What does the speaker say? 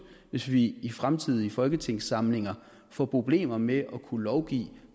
hvis vi i fremtidige folketingssamlinger får problemer med at kunne lovgive